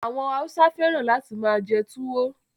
Àwọn Hausa feran lati maa je tuwo